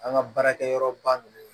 An ka baarakɛyɔrɔ ba ninnu